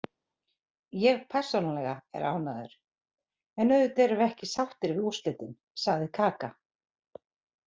Ég persónulega er ánægður, en auðvitað erum við ekki sáttir við úrslitin, sagði Kaka.